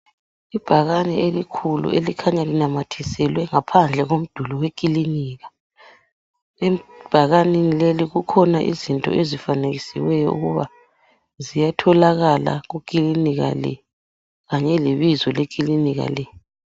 Ibhakane elikhulu elikhanya linamathiselwe ngaphandle komduli wekilinika ebhakaneni leli kukhona izinto ezifanekisiweyo ukuba ziyatholakala kuklinika le kanye ebizo leklinika le.